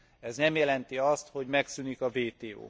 Ez nem jelenti azt, hogy megszűnik a WTO.